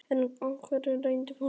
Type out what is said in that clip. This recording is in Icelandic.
En var ákvörðun ráðherrans pólitísk?